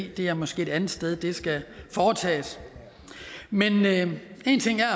i det er måske et andet sted det skal foretages men men én ting er